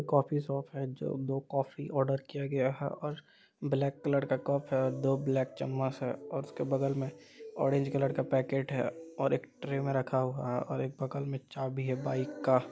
coffee shop है जो दो कॉफी ऑर्डर किया गया है और ब्लैक कलर का कप है और दो ब्लैक चम्मच है और उसके बगल मे ऑरेज कलर का पैकेट है और एक ट्रे मे रखा हुआ है और एक बगल मे चाभी है बाइक का--